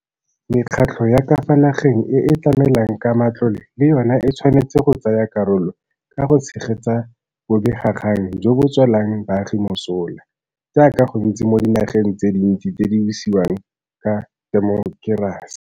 Mekgatlho ya ka fa nageng e e tlamelang ka matlole le yona e tshwanetse go tsaya karolo ka go tshegetsa bobegakgang jo bo tswelang baagi mosola, jaaka go ntse mo dinageng tse dintsi tse di busiwang ka temokerasi.